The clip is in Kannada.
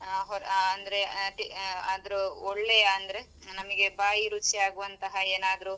ಆ ಹ ಅಂದ್ರೆ ಅದ್ ಆದ್ರು ಒಳ್ಳೆಯ ಅಂದ್ರೆ ನಮಗೆ ಬಾಯಿ ರುಚಿಯಾಗುವಂತಹ ಏನಾದ್ರು.